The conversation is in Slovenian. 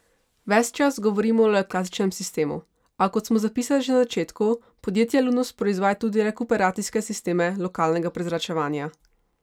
Ves čas govorimo le o klasičnem sistemu, a, kot smo zapisali že na začetku, podjetje Lunos proizvaja tudi rekuperacijske sisteme lokalnega prezračevanja.